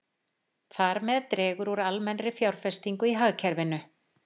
Þar með dregur úr almennri fjárfestingu í hagkerfinu.